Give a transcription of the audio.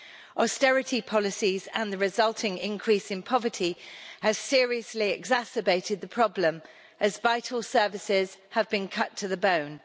Austerity policies and the resulting increase in poverty have seriously exacerbated the problem as vital services have been cut to the bone.